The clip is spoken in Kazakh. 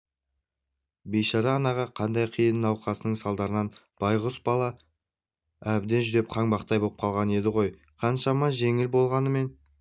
бейшара анаға қандай қиын науқасының салдарынан байғұс бала әбден жүдеп қаңбақтай боп қалған еді ғой қаншама жеңіл болғанымен